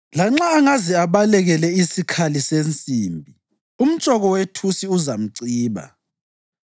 Lanxa angaze abalekele isikhali sensimbi umtshoko wethusi uzamciba.